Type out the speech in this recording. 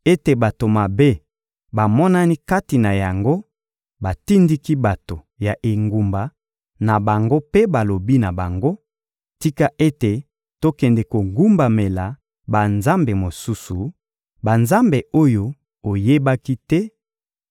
ete bato mabe bamonani kati na yango, batindiki bato ya engumba na bango mpe balobi na bango: «Tika ete tokende kogumbamela banzambe mosusu,» banzambe oyo oyebaki te,